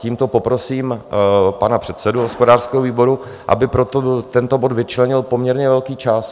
Tímto poprosím pana předsedu hospodářského výboru, aby pro tento bod vyčlenil poměrně velký čas.